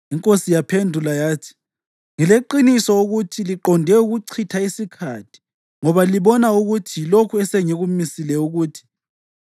Inkosi yaphendula yathi, “Ngileqiniso ukuthi liqonde ukuchitha isikhathi ngoba libona ukuthi yilokhu esengikumisile ukuthi: